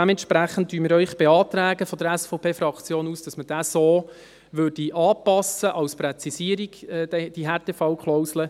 Dementsprechend beantragen wir, die SVPFraktion, Ihnen, dass man diesen so anpasst, als Präzisierung der Härtefallklausel.